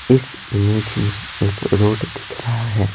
इस इमेज में एक रोड दिख रहा है।